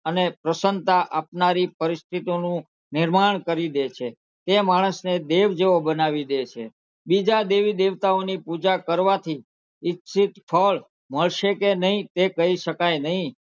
અને પ્રસન્નતા આપનારી પરિસ્થિતિઓનું નિર્માણ કરી દે છે એ માણસને દેવ જેવો બનાવી દે છે બીજા દેવી -દેવતાંઓની પૂજા કરવાથી ઈચ્છીત ફળ મળશે કે નહીં તે કહીં શકાય નહીં.